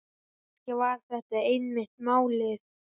Kannski var þetta einmitt málið.